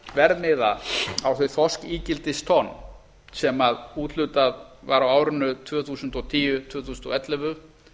verðmiða á þau þorskígildistonn sem úthlutað var á árinu tvö þúsund og tíu til tvö þúsund og ellefu